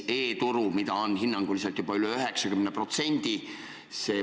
Selle turu osakaal on hinnanguliselt juba üle 90%.